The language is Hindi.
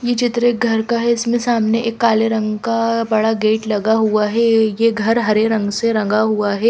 ये चित्र एक घर का है इसमें सामने एक काले रंग का बड़ा गेट लगा हुआ है ये घर हरे रंग से रंगा हुआ है।